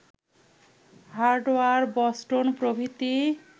Howard, Boston প্রভৃতি